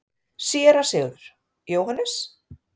SÉRA SIGURÐUR: Jóhannes?